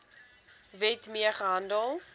wet mee gehandel